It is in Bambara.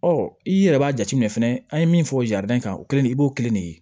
Ɔ i yɛrɛ b'a jateminɛ fɛnɛ an ye min fɔ kan o kɛlen i b'o kelen de ye